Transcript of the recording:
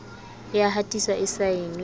e ya hatiswa e saenwe